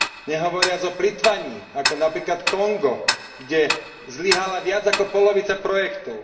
Nehovoriac o plytvaní, ako napríklad Kongo, kde zlyhala viac ako polovica projektov.